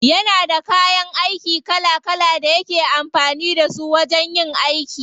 Yana da kayan aiki kala kala da yake amfani da su wajen yin aiki.